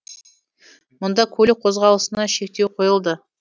мұнда көлік қозғалысына шектеу қойылды